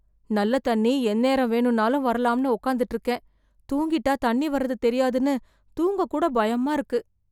நல்ல தண்ணி எந்நேரம் வேணும்னாலும் வரலாம்னு உட்கார்ந்துட்டுருக்கேன். தூங்கிட்டா தண்ணி வர்றது தெரியாதுன்னு தூங்க கூட பயமா இருக்கு.